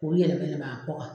K'olu yɛlɛmɛ yɛlɛmɛ a kɔ kan